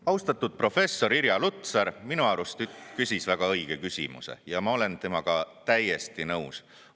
Austatud professor Irja Lutsar küsis minu arust väga õige küsimuse ja ma olen temaga täiesti nõus.